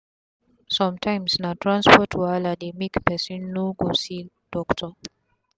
sum tyms na transport wahala dey make pesin no go see doctor